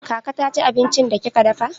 Kaka ta ci abincin da kika dafa?